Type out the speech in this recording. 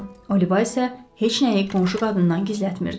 Oliva isə heç nəyi qonşu qadından gizlətmirdi.